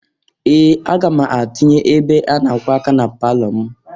Ee! Aga m atinye ebe a na-akwọ aka na palọ m.